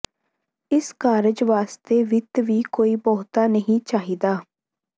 ਇਸ ਕਾਰਜ ਵਾਸਤੇ ਵਿੱਤ ਵੀ ਕੋਈ ਬਹੁਤਾ ਨਹੀਂ ਚਾਹੀਦਾ